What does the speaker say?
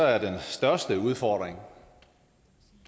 er den største udfordring